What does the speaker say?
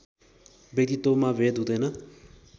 व्यक्तित्वमा भेद हुँदैन